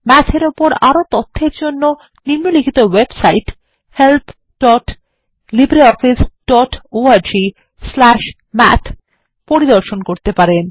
math এর উপর আরও তথ্যের জন্য নিম্নলিখিত ওয়েবসাইট helplibreofficeorgমাথ পরিদর্শন করতে পারেন